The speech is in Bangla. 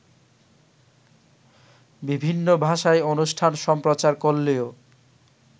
বিভিন্ন ভাষায় অনুষ্ঠান সম্প্রচার করলেও